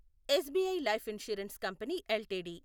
SBI life insurance company LTD